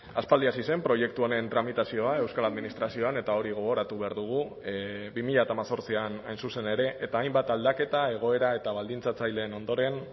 aspaldi hasi zen proiektu honen tramitazioa euskal administrazioan eta hori gogoratu behar dugu bi mila hemezortzian hain zuzen ere eta hainbat aldaketa egoera eta baldintzatzaileen ondoren